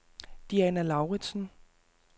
Diana Lauridsen